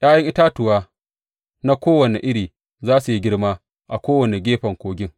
’Ya’yan itatuwa na kowane iri za su yi girma a kowane gefen kogin.